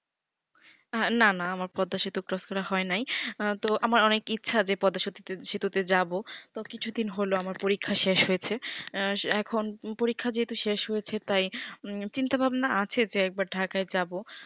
না না আমার পদ্দা সেতু cross করা হয় নাই তো আমার অনেকে ইচ্ছা যে পতাসেতু তে যাবো তো কিছু দিন হলো আমার পরীক্ষা শেষ হয়েছে আঃ এখন পরীক্ষা যেহেতু শেষ হয়েছে তাই চিন্তা ভাবনা আছে যে একবার ঢাকায় যাবো